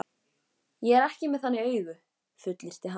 Ég er ekki með þannig augu, fullyrti hann.